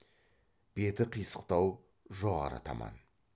беті қисықтау жоғары таман